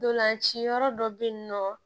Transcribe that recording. Ntolanci yɔrɔ dɔ bɛ yen nɔ